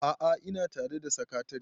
a'a ina tare da sakatare